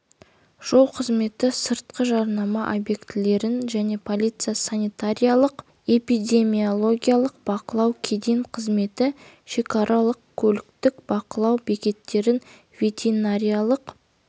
жол қызметі сыртқы жарнама объектілерін жол полициясы санитариялық-эпидемиологиялық бақылау кеден қызметі шекаралық көліктік бақылау бекеттерін ветеринариялық